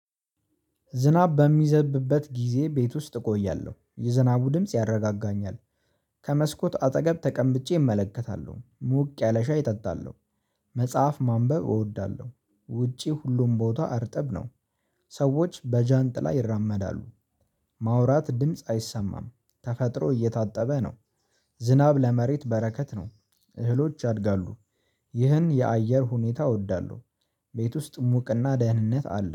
ዝናብ በሚዘብበት ጊዜ ቤት ውስጥ እቆያለሁ የዝናቡ ድምጽ ያረጋጋኛል። ከመስኮት አጠገብ ተቀምጬ እመለከታለሁ ሞቅ ያለ ሻይ እጠጣለሁ። መጽሐፍ ማንበብ እወዳለሁ ውጪ ሁሉም ቦታ እርጠብ ነው። ሰዎች በጃንጥላ ይራመዳሉ። ማውራት ድምጽ አይሰማም ተፈጥሮ እየታጠበ ነው። ዝናብ ለመሬት በረከት ነው እህሎች ያድጋሉ። ይህን የአየር ሁኔታ እወዳለሁ። ቤት ውስጥ ሙቅና ደህንነት አለ